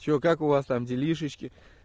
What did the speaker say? что как у вас там делишки